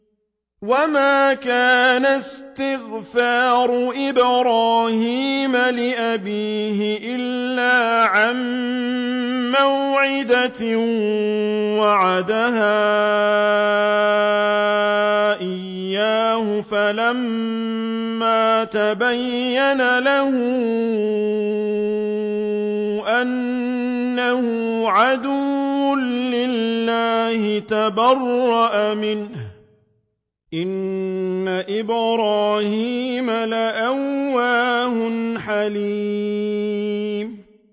وَمَا كَانَ اسْتِغْفَارُ إِبْرَاهِيمَ لِأَبِيهِ إِلَّا عَن مَّوْعِدَةٍ وَعَدَهَا إِيَّاهُ فَلَمَّا تَبَيَّنَ لَهُ أَنَّهُ عَدُوٌّ لِّلَّهِ تَبَرَّأَ مِنْهُ ۚ إِنَّ إِبْرَاهِيمَ لَأَوَّاهٌ حَلِيمٌ